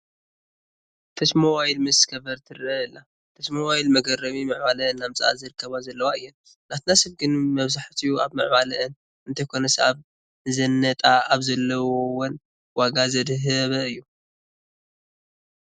ተች ሞባይል ምስ ከቨራ ትርአ ኣላ፡፡ ተች ሞባይላት መገረሚ ምዕባለ እናምፅአ ዝርከባ ዘለዋ እየን፡፡ ናትና ሰብ ግን ብኣብዝሓ ኣብ ምዕባልአን እንተይኮነስ ኣብ ንዝነጣ ኣብ ዘለወን ዋጋ ዘድሃበ እዩ፡፡